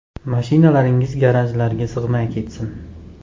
Mashinalaringiz garajlarga sig‘may ketsin!